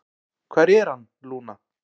"""Hvar er hann, Lúna?"""